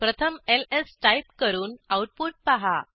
प्रथम LS type करून output पहा